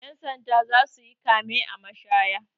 Ƴan sanda za su yi kame a mashaya.